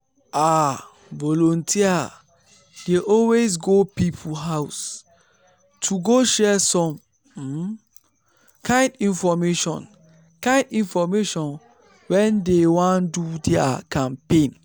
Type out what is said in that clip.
ah! volunteers dey always go people house to go share some um kind infomation kind infomation when dey wan do their campaigns.